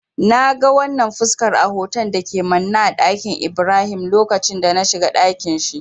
Na ga wannan fuskar a hoton da ke manne a ɗakin Ibrahim lokacin da na shiga dakin shi.